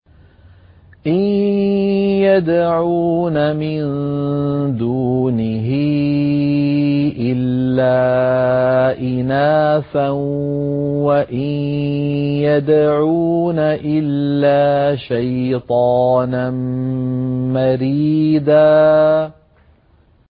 إِن يَدْعُونَ مِن دُونِهِ إِلَّا إِنَاثًا وَإِن يَدْعُونَ إِلَّا شَيْطَانًا مَّرِيدًا